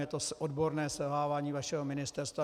Jde o odborné selhávání vašeho ministerstva.